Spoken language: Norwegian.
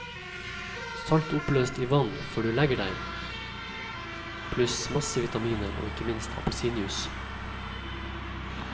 Salt oppløst i vann før du legger deg, pluss masse vitaminer og ikke minst appelsinjuice.